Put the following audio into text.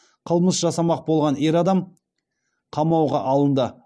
қылмыс жасамақ болған ер адам қамауға алынды